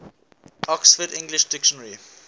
oxford english dictionary